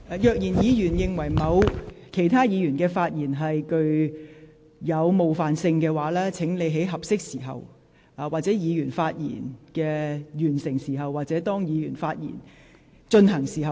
如果議員認為某議員的發言具有冒犯性，請在該位議員發言時或發言完畢的合適時間提出。